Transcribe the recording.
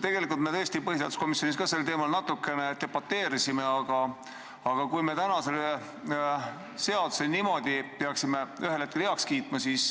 Tegelikult me tõesti põhiseaduskomisjonis ka sel teemal natukene debateerisime, aga kui me täna selle seaduse niimoodi peaksime ühel hetkel heaks kiitma, siis